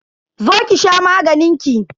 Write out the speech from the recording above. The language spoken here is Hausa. Zo ki sha maganin ki.